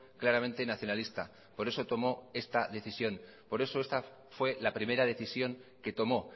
claramente nacionalista por eso tomo esta decisión por eso esta fue la primera decisión que tomó